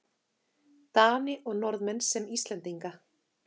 Dani og Norðmenn sem Íslendinga.